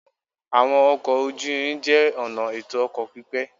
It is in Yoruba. Àwọn ọkọ̀ ojú-irin jẹ́ ọ̀nà ètò ọkọ̀ pípé